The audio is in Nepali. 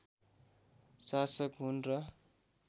साशक हुन् र